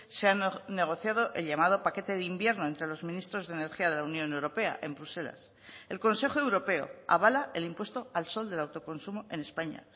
se han negociado el llamado paquete de invierno entre los ministros de energía de la unión europea en bruselas el consejo europeo avala el impuesto al sol del autoconsumo en españa